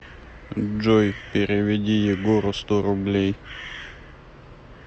джой переведи егору сто рублей